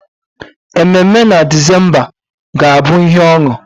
Ememe na December ga-abụ ihe ọṅụ.